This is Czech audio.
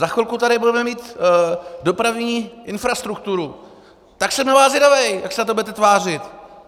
Za chvilku tady budeme mít dopravní infrastrukturu, tak jsem na vás zvědav, jak se na to budete tvářit!